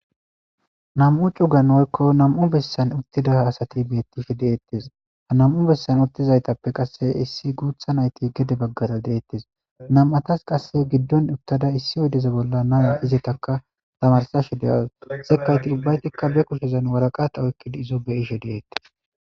Na'mu cugan oykko na'mu bessan uttida asati bettishe deettes ha na'mu bessan uttizaytappe qasse issi guutha nayti gede baggara deettes nam'atas qasse giddon uttada issi oydeza bolla naya izeetaka tamarsashe deyaws sekayti ubbaytikka be kushezan waraqata oykkidi izo beyishe deettes